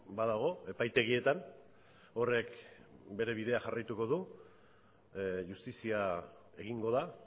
badago epaitegietan horrek bere bidea jarraituko du justizia egingo da